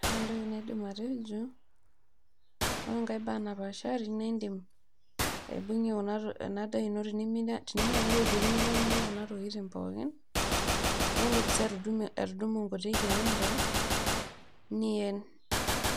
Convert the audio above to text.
ore entoki naidim atejo ore enkae bae napaashari, naa idim aibungie ena daa ino tenimiata naaji iropiyiani niyiang'unye kuna tokitin pookin, naa idim sii atudumu nkulie keenta, niyen.